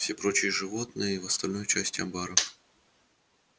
все прочие животные в остальной части амбара